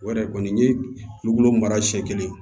O yɛrɛ kɔni n ye nugolo mara siɲɛ kelen ye